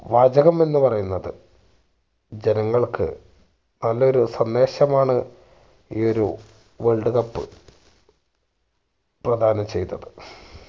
വാചകം എന്ന് പറയുന്നത് ജനങ്ങൾക്ക് നല്ലൊരു സന്ദേശമാണ് ഈ ഒരു world cup പ്രധാനം ചെയ്തത്